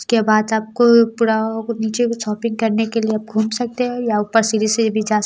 उसके बाद आपको पूरा नीचे भी शॉपिंग करने के लिए आप घूम सकते हैं या ऊपर सीढ़ी से भी जा स--